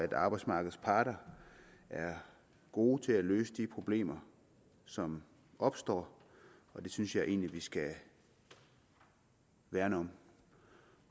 arbejdsmarkedets parter er gode til at løse de problemer som opstår og det synes jeg egentlig vi skal værne om